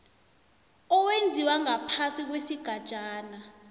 owenziwa ngaphasi kwesigatjana